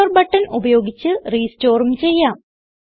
restore button ഉപയോഗിച്ച് restoreഉം ചെയ്യാം